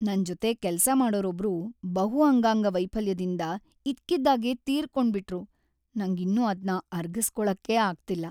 ನನ್ಜೊತೆ ಕೆಲ್ಸ ಮಾಡೋರೊಬ್ರು ಬಹು ಅಂಗಾಂಗ ವೈಫಲ್ಯದಿಂದ ಇದ್ಕಿದ್ಹಾಗೆ ತೀರ್ಕೊಂಡ್ಬಿಟ್ರು.. ನಂಗಿನ್ನೂ ಅದ್ನ ಅರ್ಗಿಸ್ಕೊಳಕ್ಕೇ ಆಗ್ತಿಲ್ಲ.